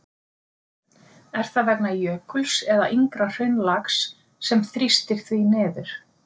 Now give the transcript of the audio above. Er það vegna jökuls eða yngra hraunlags sem þrýstir því niður?